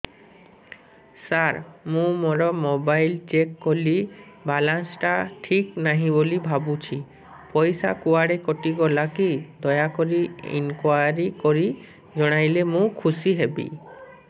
ସାର ମୁଁ ମୋର mobile check କଲି ବାଲାନ୍ସ ଟା ଠିକ ନାହିଁ ବୋଲି ଭାବୁଛି ପଇସା କୁଆଡେ କଟି ଗଲା କି ଦୟାକରି ଇନକ୍ୱାରି କରି ଜଣାଇଲେ ମୁଁ ଖୁସି ହେବି